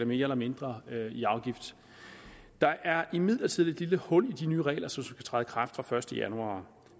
mere eller mindre i afgift der er imidlertid et lille hul i de nye regler som skal træde i kraft fra første januar